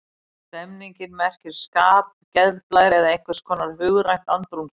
Stemning merkir skap, geðblær eða einhvers konar hugrænt andrúmsloft.